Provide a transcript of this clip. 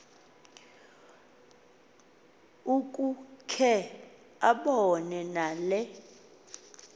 ukukhe abone nale